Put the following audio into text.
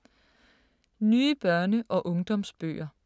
Nye børne- og ungdomsbøger